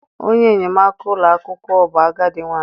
Onye enyemaka ụlọ akwụkwọ bụ agadi nwanyị.